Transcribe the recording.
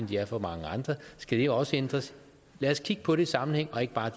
de er for mange andre skal de også ændres lad os kigge på det i sammenhæng og ikke bare